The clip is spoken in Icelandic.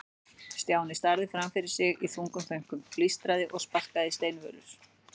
Stjáni starði fram fyrir sig í þungum þönkum, blístraði og sparkaði í steinvölur.